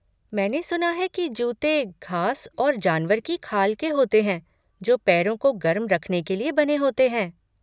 मैंने सुना है कि जूते घास और जानवर की खाल के होते हैं जो पैरों को गर्म रखने के लिए बने होते हैं।